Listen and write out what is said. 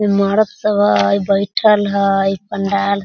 मरद सब हय बइठल हय पंडाल --